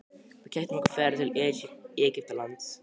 Við keyptum okkur ferð til Egyptalands.